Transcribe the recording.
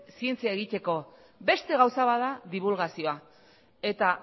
zientzia egiteko beste gauza bat da dibulgazioa eta